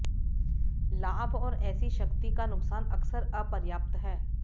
लाभ और ऐसी शक्ति का नुकसान अक्सर अपर्याप्त हैं